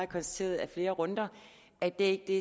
konstateret i flere runder det er ikke det